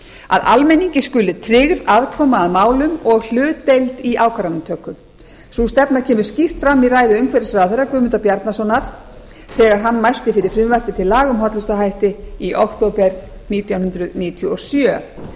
að almenningi skuli tryggð aðkoma að málum og hlutdeild í ákvarðanatöku sú stefna kemur skýrt fram í ræðu umhverfisráðherra guðmundar bjarnasonar þegar hann mælti fyrir frumvarpi til laga um hollustuhætti í október nítján hundruð níutíu og sjö